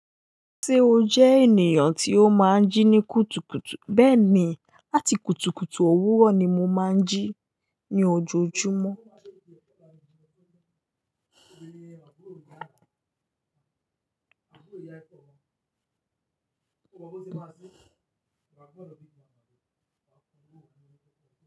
Ṣé o jẹ́ ènìyàn tí ó máa ń jí ní kùtùkùtù? Bẹ́ẹ̀ ni, láti kùtùkùtù òwúrọ̀ ni mo máa ń jí ní ojoojúmọ́.